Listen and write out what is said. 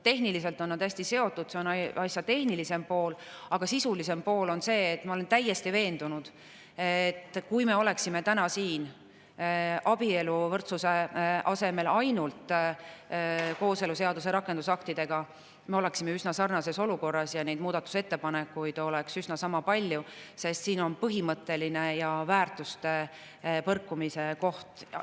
Tehniliselt on nad hästi seotud, see on asja tehnilisem pool, aga sisulisem pool on see – ma olen selles täiesti veendunud –, et kui me oleksime täna siin abieluvõrdsuse asemel ainult kooseluseaduse rakendusaktidega, siis me oleksime üsna sarnases olukorras ja muudatusettepanekuid oleks sama palju, sest siin on põhimõtteline ja väärtuste põrkumise koht.